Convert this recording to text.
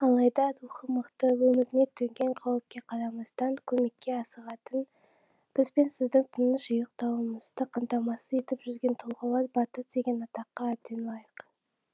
алайда рухы мықты өміріне төнген қауіпке қарамастан көмекке асығатын біз бен сіздің тыныш ұйықтауымызды қамтамасыз етіп жүрген тұлғалар батыр деген атаққа әбден лайық